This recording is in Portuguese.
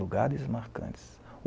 Lugares marcantes.